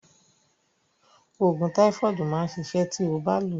Òògùn táífọ̀dù máa ṣiṣẹ́ ti ó bá lòó.